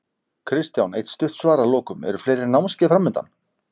Kristján eitt stutt svar að lokum, eru fleiri námskeið framundan?